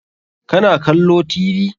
Ka na kallo Tv?